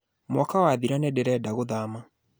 Mwaka wathira nĩ ndĩrenda gũthama